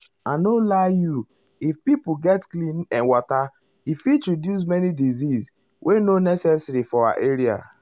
i nor lie you if pipo get clean[um]water e fit reduce um many disease wey nor um necessary for our area.